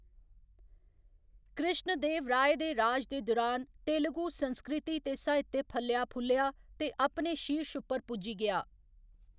कृष्णदेवराय दे राज दे दुरान, तेलुगु संस्कृति ते साहित्य फल्लेआ फुल्लेआ ते अपने शीर्श उप्पर पुज्जी गेआ।